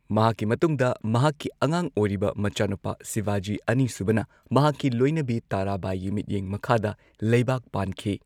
ꯃꯍꯥꯛꯀꯤ ꯃꯇꯨꯡꯗ ꯃꯍꯥꯛꯀꯤ ꯑꯉꯥꯡ ꯑꯣꯢꯔꯤꯕ ꯃꯆꯥꯅꯨꯄꯥ ꯁꯤꯕꯥꯖꯤ ꯑꯅꯤꯁꯨꯕꯅ ꯃꯍꯥꯛꯀꯤ ꯂꯣꯢꯅꯕꯤ ꯇꯔꯥꯕꯥꯏꯒꯤ ꯃꯤꯠꯌꯦꯡ ꯃꯈꯥꯗ ꯂꯩꯕꯥꯛ ꯄꯥꯟꯈꯤ꯫